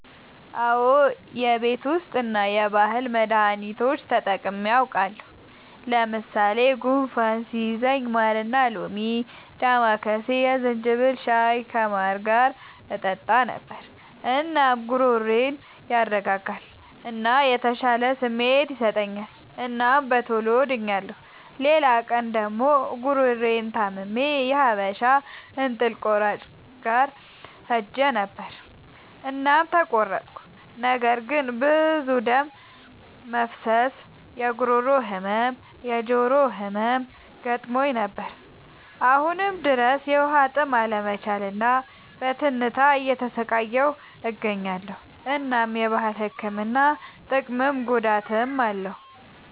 አዎ የቤት ዉስጥ እና የባህል መዳኒቶች ተጠቅሜ አዉቃለሁ። ለምሳሌ፦ ጉንፋን ሲይዘኝ ማርና ሎሚ፣ ዳማከሴ፣ የዝንጅብል ሻይ ከማር ጋር እጠጣ ነበር። እናም ጉሮሮዬን ያረጋጋል እና የተሻለ ስሜት ይሰጠኛል እናም በቶሎ ድኛለሁ። ሌላ ቀን ደግሞ ጉሮሮየን ታምሜ የሀበሻ እንጥል ቆራጭ ጋር ሄጀ ነበር እናም ተቆረጥኩ። ነገር ግን ብዙ ደም መፍሰስ፣ የጉሮሮ ህመም፣ የጆሮ ህመም ገጥሞኝ ነበር። አሁንም ድረስ በዉሀጥም አለመቻል እና በትንታ እየተሰቃየሁ እገኛለሁ። እናም የባህል ህክምና ጥቅምም ጉዳትም አለዉ።